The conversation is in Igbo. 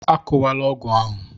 Akụwala ọgụ ahụ!